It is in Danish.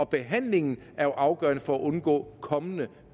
behandlingen er jo afgørende for at undgå kommende